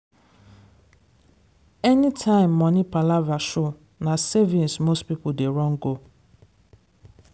anytime money palava show na savings most people dey run go.